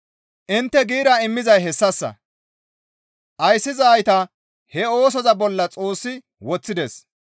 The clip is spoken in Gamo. Intte giira immizay hessassa; ayssizayta he oosoza bolla Xoossi woththides.